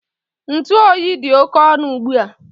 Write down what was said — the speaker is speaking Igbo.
Ntụ oyi dị oke ọnụ ugbu a